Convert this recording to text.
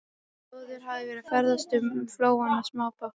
Áður hafði verið ferðast um flóann á smábátum.